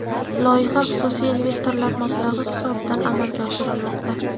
Loyiha xususiy investorlar mablag‘i hisobidan amalga oshirilmoqda.